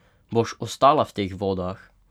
Boš ostala v teh vodah?